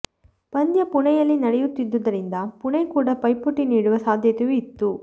ಪಂದ್ಯ ಪುಣೆಯಲ್ಲಿ ನಡೆಯುತ್ತಿದ್ದರಿಂದ ಪುಣೆ ಕೂಡ ಪೈಪೋಟಿ ನೀಡುವ ಸಾಧ್ಯತೆಯೂ ಇತ್ತು